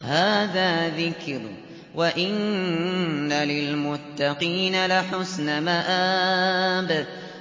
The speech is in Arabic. هَٰذَا ذِكْرٌ ۚ وَإِنَّ لِلْمُتَّقِينَ لَحُسْنَ مَآبٍ